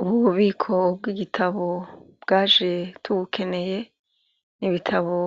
Ubu bubiko bw'igitabo bwaje tubukeneye ibitabo